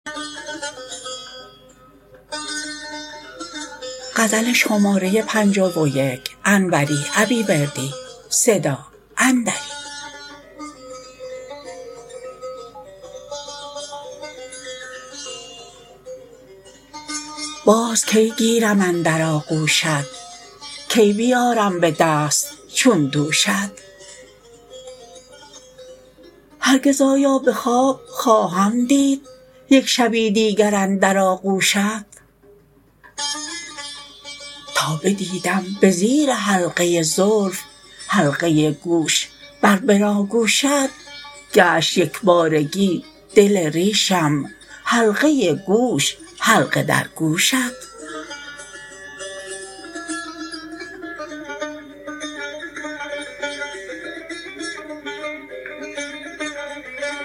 باز کی گیرم اندر آغوشت کی بیارم به دست چون دوشت هرگز آیا به خواب خواهم دید یک شبی دیگر اندر آغوشت تا بدیدم به زیر حلقه زلف حلقه گوش بر بناگوشت گشت یکبارگی دل ریشم حلقه گوش حلقه در گوشت